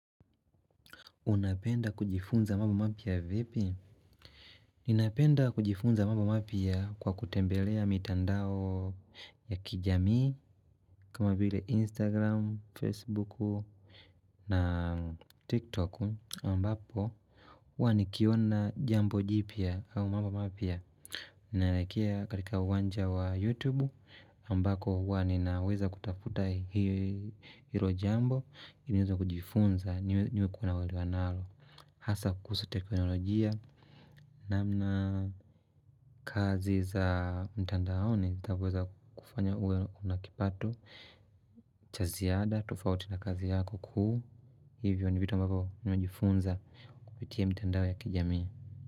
Unapenda kujifunza mambo mapya vipi? Ninapenda kujifunza mambo mapya kwa kutembelea mitandao ya kijamii kama vile Instagram, Facebook na TikTok ambapo huwa nikiona jambo jipya au mambo mapya. Ninakelekea katika uwanja wa YouTube ambako huwa ninaweza kutafuta hilo jambo ili niweze kujifunza niwe nikona uelewa nalo. Hasa kuhusu teknolojia namna kazi za mtandaoni zitavyoweza kufanya uwe una kipato cha ziada tofauti na kazi yako kuu hivyo ni vitu ambavyo nimejifunza kupitia mitandao ya kijamii.